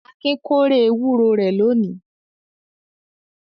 Akin kórè ewúro rẹ̀ lónìí.